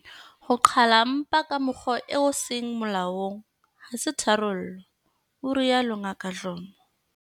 Ho qhala mpa ka mokgwa o seng molaong ha se tharollo, o rialo Ngaka Dlomo.